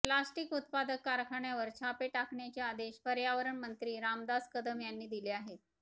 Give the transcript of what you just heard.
plastic उत्पादक कारखान्यावर छापे टाकण्याचे आदेश पर्यावरण मंत्री रामदास कदम यांनी दिले आहेत